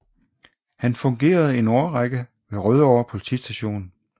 Han fungerede en årrække ved Rødovre Politistation